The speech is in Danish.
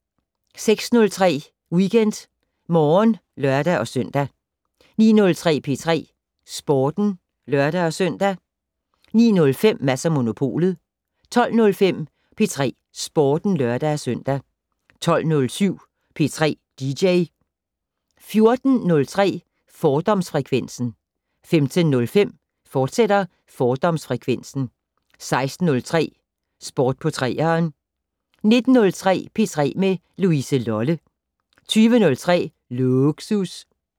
06:03: WeekendMorgen (lør-søn) 09:03: P3 Sporten (lør-søn) 09:05: Mads & Monopolet 12:05: P3 Sporten (lør-søn) 12:07: P3 dj 14:03: Fordomsfrekvensen 15:05: Fordomsfrekvensen, fortsat 16:03: Sport på 3'eren 19:03: P3 med Louise Lolle 20:03: Lågsus